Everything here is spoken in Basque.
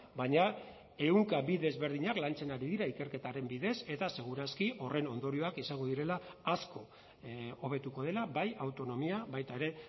baina ehunka bi desberdinak lantzen ari dira ikerketaren bidez eta segur aski horren ondorioak izango direla asko hobetuko dela bai autonomia baita ere